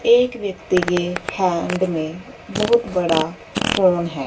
एक व्यक्ति के हैंड में बहुत बड़ा फोन है।